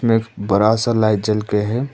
में बड़ा सा लाइट जल के हैं।